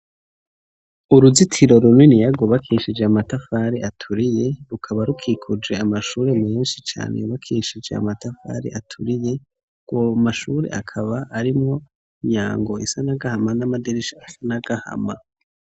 Uruzitiro runiniya rwubakishije amatafari aturiye, rukaba rukikuje amashure menshi cane yubakishije amatafari aturiye, ayo mashure akaba arimwo imyango isa n'agahama, n'amadirisha asa n'agahama.